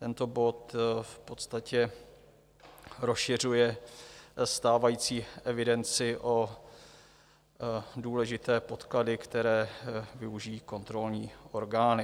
Tento bod v podstatě rozšiřuje stávající evidenci o důležité podklady, které využijí kontrolní orgány.